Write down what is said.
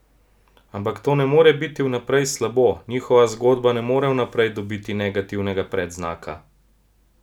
Ampak to ne more biti vnaprej slabo, njihova zgodba ne more vnaprej dobiti negativnega predznaka!